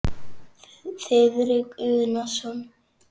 Þiðrik Unason.